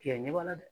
Tigɛ ɲɛ b'a la dɛ